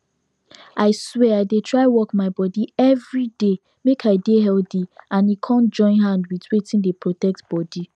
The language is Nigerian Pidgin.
i swear i dey try work my body everyday make i dey healthy and e come join hand with wetin dey protect bodi